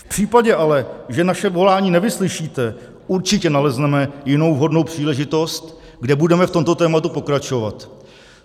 V případě ale, že naše volání nevyslyšíte, určitě nalezneme jinou vhodnou příležitost, kde budeme v tomto tématu pokračovat.